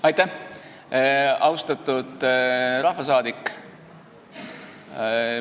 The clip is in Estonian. Aitäh, austatud rahvasaadik!